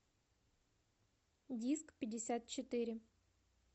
дискпятьдесятчетыре